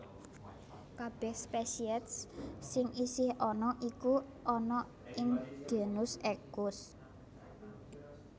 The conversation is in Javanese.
Kabèh spesies sing isih ana iku ana ing genus Equus